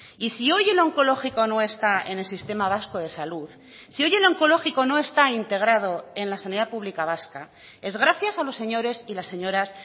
y si hoy el onkologiko no está en el sistema vasco de salud si hoy el onkologiko no está integrado en la sanidad pública vasca es gracias a los señores y las señoras